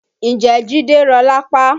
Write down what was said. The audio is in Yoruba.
Ǹjẹ́ jide rọ́ lápá?